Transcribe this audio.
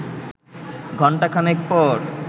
ঘণ্টা খানেক পর